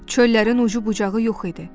Çöllərin ucu bucağı yox idi.